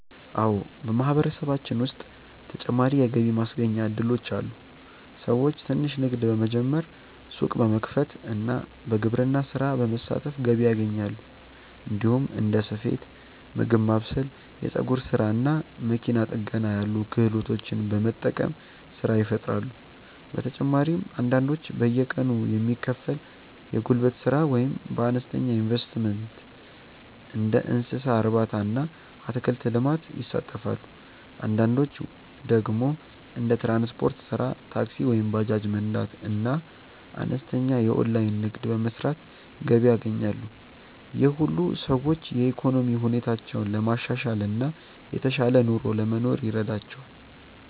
አዎ፣ በማህበረሰባችን ውስጥ ተጨማሪ የገቢ ማስገኛ እድሎች አሉ። ሰዎች ትንሽ ንግድ በመጀመር፣ ሱቅ በመክፈት እና በግብርና ስራ በመሳተፍ ገቢ ያገኛሉ። እንዲሁም እንደ ስፌት፣ ምግብ ማብሰል፣ የፀጉር ስራ እና መኪና ጥገና ያሉ ክህሎቶችን በመጠቀም ስራ ይፈጥራሉ። በተጨማሪም አንዳንዶች በየቀኑ የሚከፈል የጉልበት ስራ ወይም በአነስተኛ ኢንቨስትመንት እንደ እንስሳ እርባታ እና አትክልት ልማት ይሳተፋሉ። አንዳንዶች ደግሞ እንደ ትራንስፖርት ስራ (ታክሲ ወይም ባጃጅ መንዳት) እና አነስተኛ የኦንላይን ንግድ በመስራት ገቢ ያገኛሉ። ይህ ሁሉ ሰዎች የኢኮኖሚ ሁኔታቸውን ለማሻሻል እና የተሻለ ኑሮ ለመኖር ይረዳቸዋል።